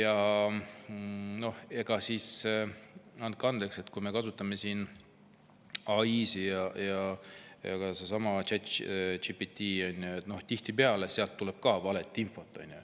Andke andeks, aga kui me kasutame AI‑d ja sedasama ChatGPT‑d, siis tihtipeale tuleb sealt ka valeinfot.